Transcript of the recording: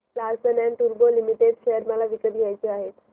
Larsen and टुर्बो limited share मला विकत घ्यायचे आहेत